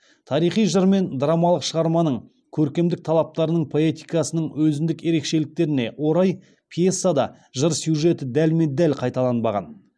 тарихи жыр мен драмалық шығарманың көркемдік талаптарының поэтикасының өзіндік ерекшеліктеріне орай пьесада жыр сюжеті дәлме дәл қайталанбаған